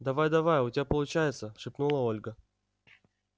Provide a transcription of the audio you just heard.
давай-давай у тебя получается шепнула ольга